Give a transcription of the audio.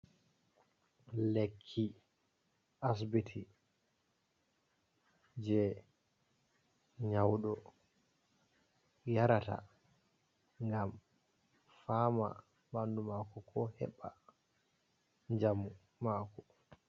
Lekki asibiti je nyauɗo yarata ngam fama ɓandu mako ko heba jamu mako.